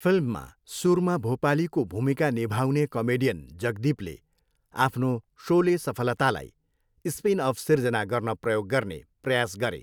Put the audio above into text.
फिल्ममा सुरमा भोपालीको भूमिका निभाउने कमेडियन जगदीपले आफ्नो सोले सफलतालाई स्पिनअफ सिर्जना गर्न प्रयोग गर्ने प्रयास गरे।